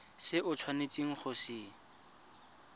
se o tshwanetseng go se